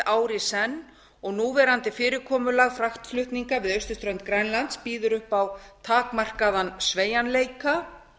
ár í senn og núverandi fyrirkomulag fraktflutninga við austurströnd grænlands býður upp á takmarkaðan sveigjanleika